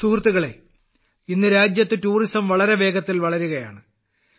സുഹൃത്തുക്കളേ ഇന്ന് രാജ്യത്ത് ടൂറിസം വളരെ വേഗത്തിൽ വളരുകയാണ്